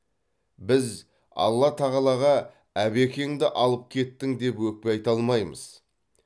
біз алла тағалаға әбекеңді алып кеттің деп өкпе айта алмаймыз